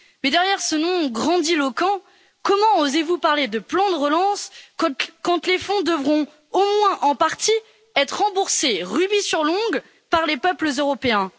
Mais derrière ce nom grandiloquent, comment osez vous parler de plan de relance quand les fonds devront, au moins en partie, être remboursés rubis sur l'ongle par les peuples européens?